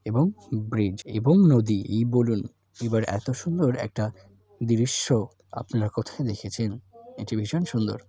এবং ব্রিজ এবং নদী এই বলুন এবার এত সুন্দর একটা দৃশ্য আপনারা কোথায় দেখেছেন? এটি ভীষণ সুন্দর।